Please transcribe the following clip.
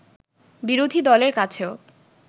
বিরোধী দলের কাছেও